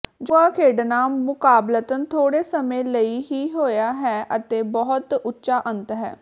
ਜੂਆ ਖੇਡਣਾ ਮੁਕਾਬਲਤਨ ਥੋੜੇ ਸਮੇਂ ਲਈ ਹੀ ਹੋਇਆ ਹੈ ਅਤੇ ਬਹੁਤ ਉੱਚਾ ਅੰਤ ਹੈ